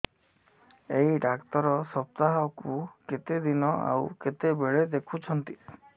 ଏଇ ଡ଼ାକ୍ତର ସପ୍ତାହକୁ କେତେଦିନ ଆଉ କେତେବେଳେ ଦେଖୁଛନ୍ତି